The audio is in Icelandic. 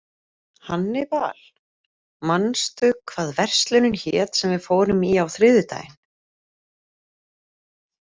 Hannibal, manstu hvað verslunin hét sem við fórum í á þriðjudaginn?